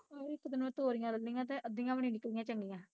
ਇੱਕ ਦਿਨ ਤੋਰੀਆਂ ਲਈਆ ਤੇ ਅੱਧੀਆਂ ਵੀ ਨੀ ਨਿਕਲੀਆਂ ਚੰਗੀਆਂ